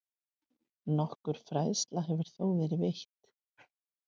Nokkur fræðsla hefur þó verið veitt.